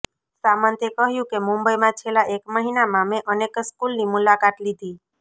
સામંતે કહ્યું કે મુંબઇમાં છેલ્લા એક મહિનામાં મેં અનેક સ્કૂલની મુલાકાત લીધી